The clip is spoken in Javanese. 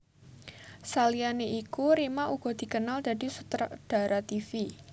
Saliyané iku Rima uga dikenal dadi sutradara tivi